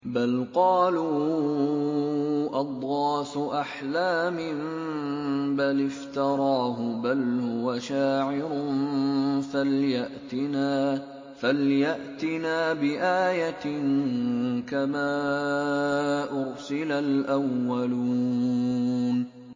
بَلْ قَالُوا أَضْغَاثُ أَحْلَامٍ بَلِ افْتَرَاهُ بَلْ هُوَ شَاعِرٌ فَلْيَأْتِنَا بِآيَةٍ كَمَا أُرْسِلَ الْأَوَّلُونَ